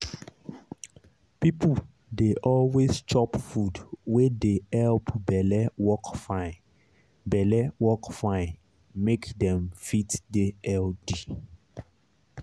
people dey always chop food wey dey help belle work fine belle work fine make dem fit dey healthy.